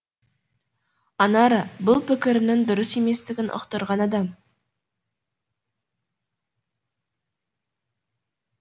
анара бұл пікірімнің дұрыс еместігін ұқтырған адам